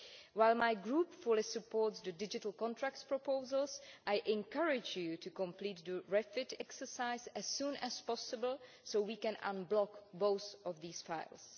While my Group fully supports the digital contracts proposals, I encourage you to complete the Refit exercise as soon as possible so we can unblock both of these files.